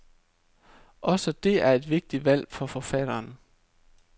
Også det er et vigtigt valg for forfatteren.